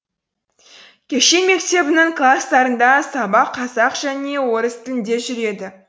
кешен мектебінің кластарында сабақ қазақ және орыс тілінде жүреді